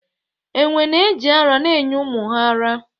Enwe na-eji ara na-enye ụmụ ha ara.